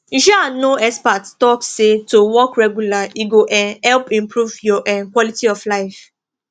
you um know experts talk say to walk regular e go um help improve your um quality of life